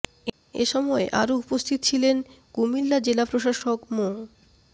এ সময় আরো উপস্থিত ছিলেন কুমিল্লা জেলা প্রশাসক মো